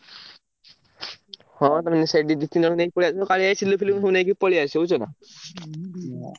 ହଁ ତମେ ସେଇଠୁ ଦି ତିନି ଜଣଙ୍କୁ ନେଇ ପଳେଇ ଆସିବ କାଳିଆ ଭାଇ, ସିଲୁ ଫିଲୁକୁ ସବୁ ନେଇକି ପଳେଇଆସିବ ବୁଝୁଛନା।